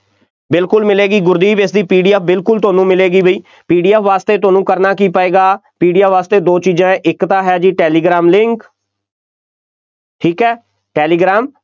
ਬਿਲਕੁੱਲ ਮਿਲੇਗੀ, ਗੁਰਦੀਪ ਇਸਦੀ PDF ਤੁਹਾਨੂੰ ਮਿਲੇਗੀ ਬਈ, PDF ਵਾਸਤੇ ਤੁਹਾਨੂੰ ਕਰਨਾ ਕੀ ਪਏਗਾ, PDF ਵਾਸਤੇ ਦੋ ਚੀਜ਼ਾਂ, ਇੱਕ ਤਾਂ ਹੈ ਜੀ ਟੈਲੀਗ੍ਰਾਮ link ਠੀਕ ਹੈ ਟੈਲੀਗ੍ਰਾਮ